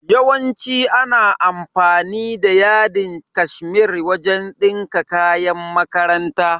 Yawanci ana amfani da yadin cashmere wajen dinka kayan makaranta.